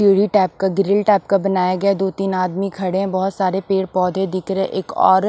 सीढ़ी टाइप का grill type का बनाया गया दो-तीन आदमी खड़े हैं बहुत सारे पेड़-पौधे दिख रहे हैं एक और--